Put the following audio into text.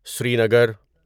Srinagar